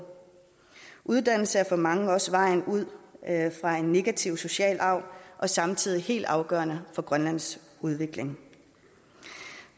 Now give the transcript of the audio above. uddannelse er for mange også vejen ud af en negativ social arv og samtidig helt afgørende for grønlands udvikling